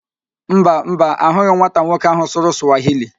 Mba, Mba, ahụghị m nwata nwoke ahụ sụrụ Sụwahili